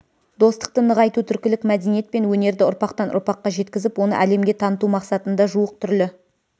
достықты нығайту түркілік мәдениет пен өнерді ұрпақтан ұрпаққа жеткізіп оны әлемге таныту мақсатында жуық түрлі